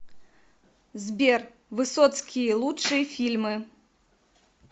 сбер высоцкии лучшие фильмы